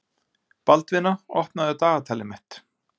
Baldvina, opnaðu dagatalið mitt.